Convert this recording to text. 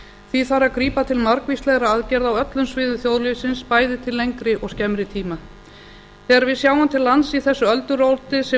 því þarf að grípa til margvíslegra aðgerða á öllum sviðum þjóðlífsins bæði til lengri og skemmri tíma þegar við sjáum til lands í þessu ölduróti sem